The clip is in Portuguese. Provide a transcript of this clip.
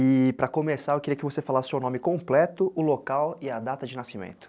E para começar, eu queria que você falasse o seu nome completo, o local e a data de nascimento.